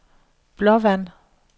Blåvand